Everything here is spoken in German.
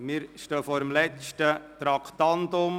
Wir stehen vor dem letzten Traktandum.